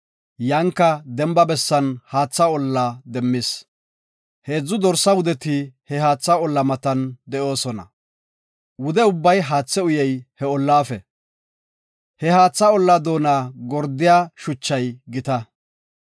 Yanka demba bessan haatha olla demmis. Heedzu dorsa wudeti he haatha olla matan de7oosona. Wude ubbay haathe uyey he ollafe. He haatha olla doona gordiya shuchay gita.